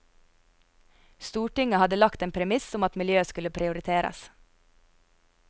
Stortinget hadde lagt en premiss om at miljøet skulle prioriteres.